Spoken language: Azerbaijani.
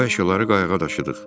Biz bu əşyaları qayıqa daşıdıq.